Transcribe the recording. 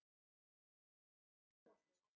Hversu geggjaður gæi?